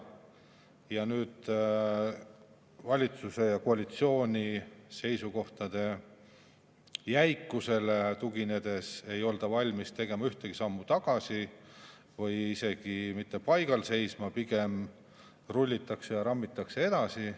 Ja nüüd, valitsuse ja koalitsiooni seisukohtade jäikusele tuginedes, ei olda valmis tegema ühtegi sammu tagasi, isegi mitte paigal seisma, pigem rullitakse ja rammitakse edasi.